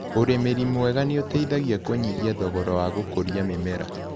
ũrĩmĩri mwega nĩũteithagia kũnyihia thogora wa gũkũria mĩmera.